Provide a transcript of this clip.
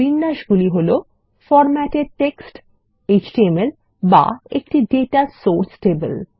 বিন্যাসগুলি হল formatted text HTML বা একটি দাতা সোর্স টেবল